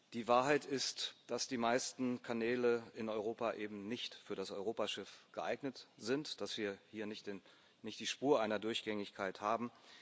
Die Wahrheit ist, dass die meisten Kanäle in Europa eben nicht für das Europaschiff geeignet sind dass wir hier nicht die Spur einer Durchgängigkeit haben.